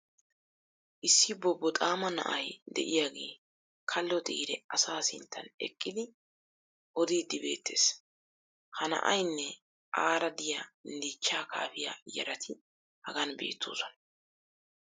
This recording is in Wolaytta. issi bobboxaama na"ay diyaagee kalo xiire asaa sinttan eqqidi odiidi beetees. ha na"aynne aara diyaa dichchaa kaafiya yaratti hagan beetoosona.